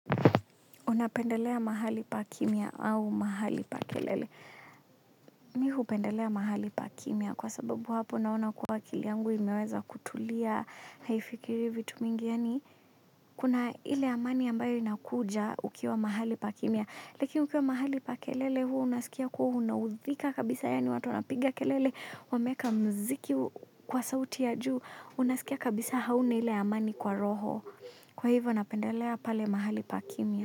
Unapendelea mahali pa kimya au mahali pa kelele. Mi hupendelea mahali pa kimia kwa sababu hapo naona kuwa akili yangu imeweza kutulia haifikiri vitu mingi yani. Kuna ile amani ambayo inakuja ukiwa mahali pa kimya. Lakini ukiwa mahali pa kelele huwa unasikia kuwa unaudhika kabisa yani watu wanapiga kelele wameeka mziki kwa sauti ya juu unasikia kabisa hauna ile amani kwa roho. Kwa hivyo napendelea pale mahali pa kimya.